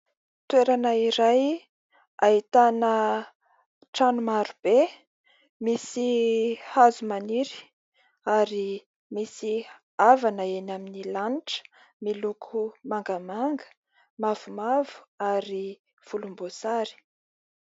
Toerana iray ahitana trano maro be misy hazo maniry ary misy avana eny amin' ny lanitra miloko mangamanga, mavomavo ary volombosary.